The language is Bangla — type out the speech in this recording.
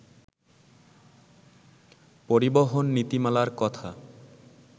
পরিবহন নীতিমালার কথা